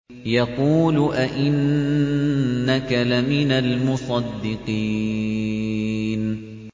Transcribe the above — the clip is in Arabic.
يَقُولُ أَإِنَّكَ لَمِنَ الْمُصَدِّقِينَ